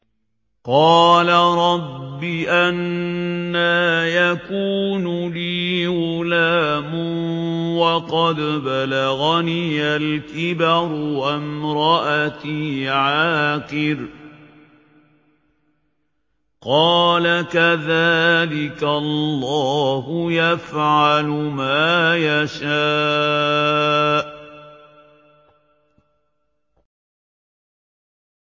قَالَ رَبِّ أَنَّىٰ يَكُونُ لِي غُلَامٌ وَقَدْ بَلَغَنِيَ الْكِبَرُ وَامْرَأَتِي عَاقِرٌ ۖ قَالَ كَذَٰلِكَ اللَّهُ يَفْعَلُ مَا يَشَاءُ